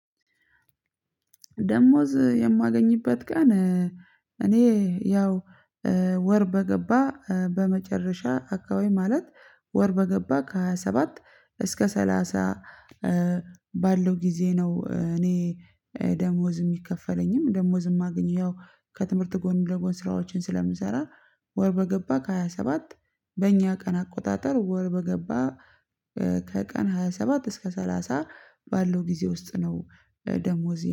ደሞዝ የማገኝበት ቀን እኔ ያው ወር በገባ በመጨረሻ አካባቢማለት ወር በገባ ከሃያ ሰባት እስከ ሰላሳ ባለው ግዜ ነው። እኔ ደሞዝ የሚከፈለኝም ደሞዝ የማገኘው ከትምህርት ጎን ደግሞ ስራዎች ስለምሰራ ወር በገባ ከሃያ ሰባት በኛ ቀን አቆጣጠር ወር በገባ ከቀን ሃያ ሰባት እስከ ሰላሳ ባለው ግዜ ውስጥ። ደሞዜን